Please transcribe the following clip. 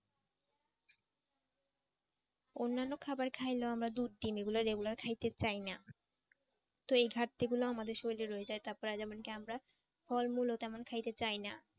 অন্যান্য খাবার খাইলেও আমরা দুধ ডিম এগুলো regular খাইতে চাই না তো এই ঘাটতি গুলো আমাদের শরীরে রয়ে যায় তারপরে যেমন কি আমরা ফলমূল ও তেমন খাইতে চাইনা।